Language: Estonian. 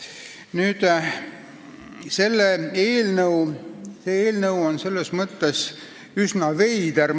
Nüüd, see eelnõu on mõnes mõttes üsna veider.